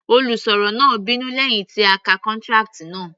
Olùsọ̀rọ̀ náà bínú lẹ́hìn tí ó ka contract náà.